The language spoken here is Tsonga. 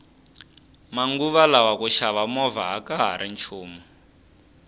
manguva lawa ku xava movha akahari nchumu